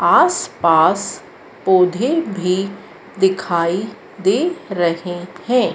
आसपास पौधे भी दिखाई दे रहे हैं।